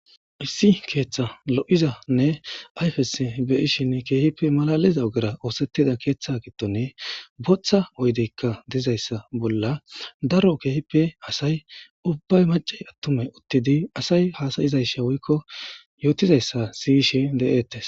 Issi keeththa lo'izanne ayfes beyishin keehippe malaliza ogera oosettida keeththe gittone booththa oydeykka dizayssa bolla daro keehippe asay ubbay macey attumey uttidi asay haasayizaysha woykko yootizayssa siyishe de'ettes